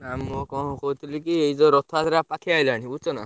ନା, ମୁଁଁ କଣ କହୁଥିଲିକି, ଏଇ ଯୋଉ ରଥଯାତ୍ରା ପାଖେଇଆଇଲାଣି ବୁଝୁଛ ନା?